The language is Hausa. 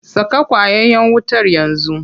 Saka ƙwayayen wutar yanzu.